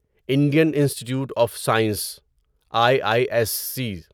Indian institute of science I I S C